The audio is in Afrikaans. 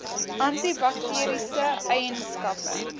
anti bakteriese eienskappe